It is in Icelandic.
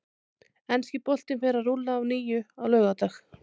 Enski boltinn fer að rúlla að nýju á laugardag.